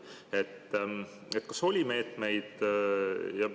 Kas oli meetmeid?